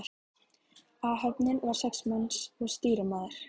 Áhöfnin var sex manns og stýrimaður.